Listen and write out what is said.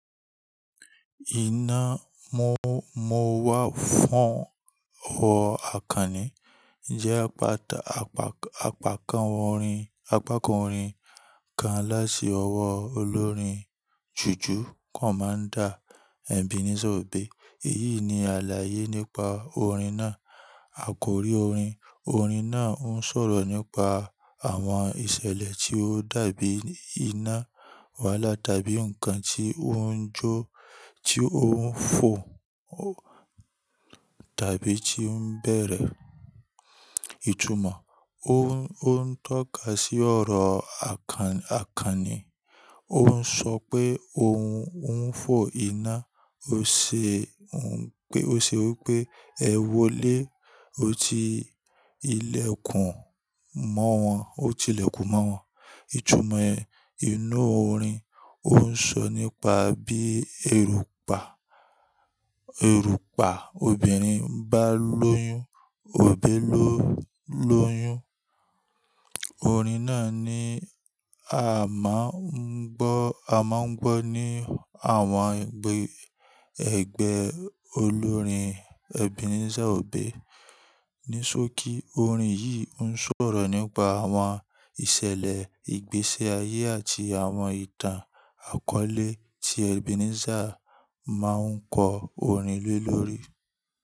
Iná Mọ́mọ́wá fún ọ̀wọ́ àkànní jẹ́ apákan orin kan láti ọwọ́ olórin jùjú Commander Ebenezer Obey. Èyí ni àlàyé nípa orin náà: Àkòrí Orin: Orin náà ń sọ̀rọ̀ nípa àwọn ìṣẹ̀lẹ̀ tí ó dàbí iná wálà, tàbí ǹkan tí ó ń jó, tí ó ń fò, tàbí tí ń bẹ̀rẹ̀. Ìtumọ̀: Ó ń tọ́ka sí ọ̀rọ̀ àkànní. Ó ń sọ pé ohun ń fò iná. Ó ṣe wí pé "ẹ wọlé, ó ti ilẹ̀kùn mọ́ wọn", ó ti ilẹ̀kùn mọ́ wọn. Ìtumọ̀ inú orin: Ó ń sọ nípa bí erùpà obìnrin bá lóyún, òbí ló lóyún. Orin náà ni a máa ń gbọ́ ní àwọn ẹgbẹ́ olórin Ebenezer Obey. Ní sókí, orin yìí ń sọ̀rọ̀ nípa àwọn ìṣẹ̀lẹ̀ ìgbésí ayé àti àwọn ìtàn-àkọ́lé tí Ebenezer máa ń kọ orin lé lóòrè.